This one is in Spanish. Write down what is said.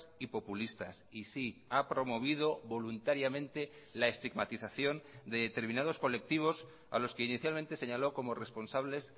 y populistas y sí ha promovido voluntariamente la estigmatización de determinados colectivos a los que inicialmente señaló como responsables